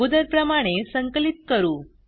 अगोदर प्रमाणे संकलित करू